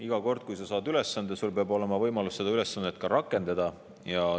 Iga kord, kui sa saad ülesande, peab sul olema ka võimalus seda ülesannet.